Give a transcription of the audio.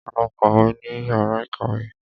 Lọ kàwé ní yàrá ìkàwé.